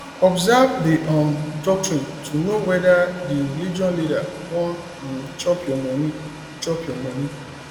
observe di um doctrine to know whether di religious leader wan um chop your money chop your money